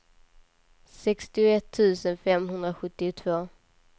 sextioett tusen femhundrasjuttiotvå